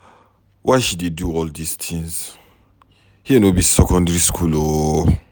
Why she dey do all dis things. Here no be secondary school ooo.